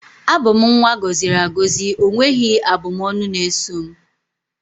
abum nwa agoziri agozi, onweghi abu m ọnụ na eso m